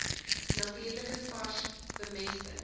natuurlike vars bemesting